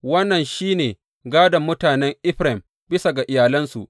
Wannan shi ne gādon mutanen Efraim bisa ga iyalansu.